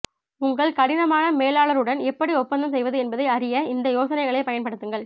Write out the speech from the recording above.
உங்கள் கடினமான மேலாளருடன் எப்படி ஒப்பந்தம் செய்வது என்பதை அறிய இந்த யோசனைகளைப் பயன்படுத்துங்கள்